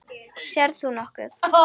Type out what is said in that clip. Sérð þú nokkuð?